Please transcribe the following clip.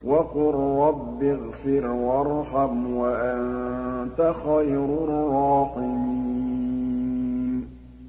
وَقُل رَّبِّ اغْفِرْ وَارْحَمْ وَأَنتَ خَيْرُ الرَّاحِمِينَ